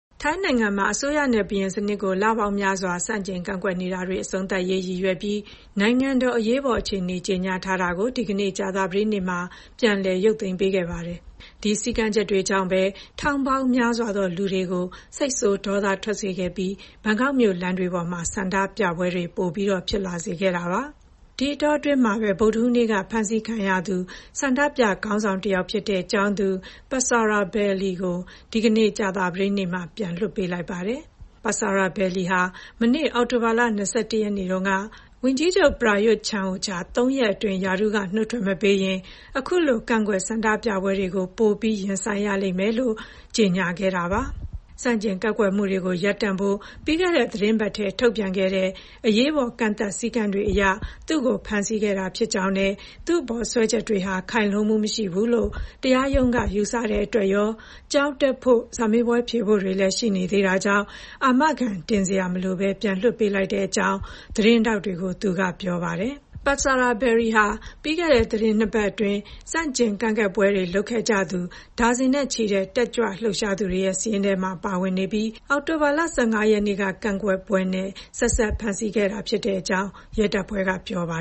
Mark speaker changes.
Speaker 1: ထိုင်းနိုင်ငံမှာ အစိုးရနဲ့ ဘုရင်စနစ်ကို လပေါင်းများစွာ ဆန့်ကျင်ကန့်ကွက်နေတာတွေ အဆုံးသတ်ရေး ရည်ရွယ်ပြီး နိုင်ငံတော်အရေးပေါ်အခြေအနေ ကြေညာထားတာကို ဒီကနေ့ ကြာသပတေးနေ့မှာ ပြန်လည် ရုပ်သိမ်းပေးခဲ့ပါတယ်။ ဒီစည်းကမ်းချက်တွေကြောင့်ပဲ ထောင်ပေါင်းများစွာသော လူတွေကို စိတ်ဆိုးဒေါသထွက်စေခဲ့ပြီး ဘန်ကောက်မြို့ လမ်းတွေပေါ်မှာ ဆန္ဒပြပွဲတွေ ပိုဖြစ်လာခဲ့တာပါ။ ဒီအတောအတွင်းမှာပဲ ဗုဒ္ဓဟူးနေ့က ဖမ်းဆီးခံခဲ့ရသူ ဆန္ဒပြခေါင်းဆောင်တယောက်ဖြစ်တဲ့ ကျောင်းသူ Patsaravalee "Mind" Tanakitvibulpon ကို ဒီကနေ့ ကြာသပတေးနေ့မှာ ပြန်လွတ်လာပါတယ်။ ပတ်ဆာရာဗယ်လီ ဟာ မနေ့ အောက်တိုဘာလ ၂၁ ရက်နေ့တုန်းက ဝန်ကြီးချုပ် ပရာရွတ် ချန်အိုချာ ၃ ရက်အတွင်း ရာထူးကနုတ်ထွက်မပေးရင် အခုလို ကန့်ကွက်ဆန္ဒပြပွဲတွေကို ပိုပြီး ရင်ဆိုင်ရလိမ့်မယ်လို့ ကြေညာခဲ့တာပါ။ ဆန့်ကျင်ကန့်ကွက်မှုတွေ ရပ်တန့်ဖို့ ပြီးခဲ့တဲ့သီတင်းပတ်ထဲက ထုတ်ပြန်ခဲ့တဲ့ အရေးပေါ် ကန့်သတ် စည်းကမ်းတွေအရ သူ့ကို ဖမ်းဆီးခဲ့တာဖြစ်ကြောင်းနဲ့ သူ့အပေါ်စွဲချက်တွေဟာ ခိုင်လုံမှုမရှိဘူးလို့ တရားရုံးက ယူဆတဲ့အတွက်ရော၊ ကျောင်းတက်ဖို့ စာမေးပွဲဖြေဖို့တွေလည်း ရှိေနေသေးတာကြောင့် အာမခံတင်စရာ မလိုဘဲ ပြန်လွှတ်ပေးလိုက်ကြောင်း သတင်းထောက်တွေကို သူက ပြောပါတယ်။ ပတ်ဆာရာဗယ်လီဟာ ပြီးခဲ့တဲ့ သီတင်း ၂ ပတ်အတွင်း ဆန့်ကျင်ကန့်ကွက်ပွဲတွေလုပ်ခဲ့ကြသူ ဒါဇင်နဲ့ချီတဲ့ တက်ကြွလှုပ်ရှားသူတွေရဲ့ စာရင်းထဲမှာ ပါဝင်နေပြီး အောက်တိုဘာလ ၁၅ ရက်နေ့က ကန့်ကွက်ပွဲနဲ့ ဆက်စပ်ဖမ်းဆီးခဲ့တာဖြစ်ကြောင်း ရဲတပ်ဖွဲ့က ပြောပါ